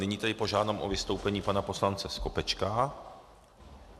Nyní tedy požádám o vystoupení pana poslance Skopečka.